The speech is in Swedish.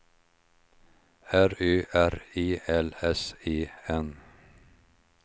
R Ö R E L S E N